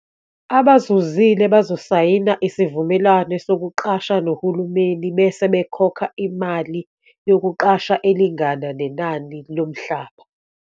Abazuzile bazosayina isivumelwano sokuqasha nohulumeni bese bekhokha imali yokuqasha elingana nenani lomhlaba.